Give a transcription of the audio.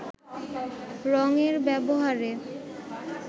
রঙের ব্যবহারে